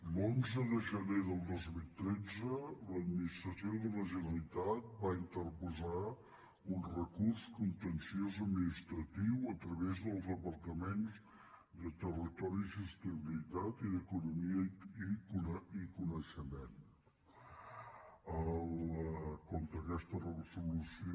l’onze de gener del dos mil tretze l’admi·nistració de la generalitat va interposar un recurs con·tenciós administratiu a través dels departaments de territori i sostenibilitat i d’economia i coneixement contra aquesta resolució